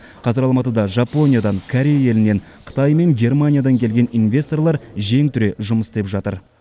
қазір алматыда жапониядан корей елінен қытай мен германиядан келген инвесторлар жең түре жұмыс істеп жатыр